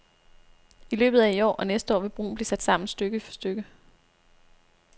I løbet af i år og næste år vil broen blive sat sammen stykke for stykke.